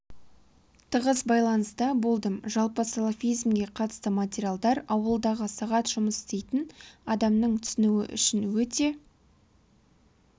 тығыз байланыста болдым жалпы салафизмге қатысты материалдар ауылдағы сағат жұмыс істейтін адамның түсінуі үшін өте